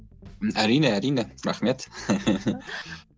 әрине әрине рахмет